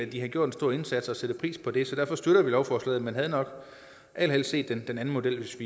de har gjort en stor indsats for at sætte pris på det så derfor støtter vi lovforslaget men havde nok allerhelst set den anden model hvis